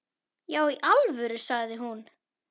Já í alvöru, sagði hún.